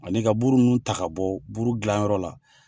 Ani ka buru ninnu ta ka bɔ buru gilan yɔrɔ la.